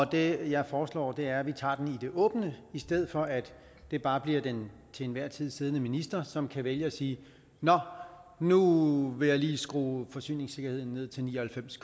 det jeg foreslår er at vi tager den det åbne i stedet for at det bare bliver den til enhver tid siddende minister som kan vælge at sige nå nu vil jeg lige skrue forsyningssikkerheden ned til ni og halvfems